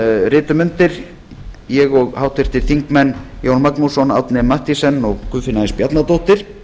ritum undir ég og háttvirtir þingmenn jón magnússon árni m mathiesen og guðfinna s bjarnadóttir